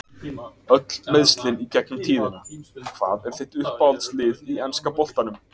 Öll meiðslin í gegnum tíðina Hvað er þitt uppáhaldslið í enska boltanum?